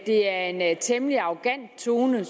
det er en temmelig arrogant tone